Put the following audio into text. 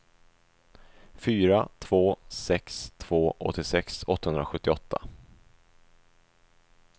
fyra två sex två åttiosex åttahundrasjuttioåtta